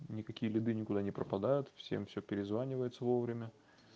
никакие беды никуда не пропадают всем всё перезванивается вовремя